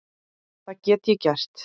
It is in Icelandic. Það get ég gert.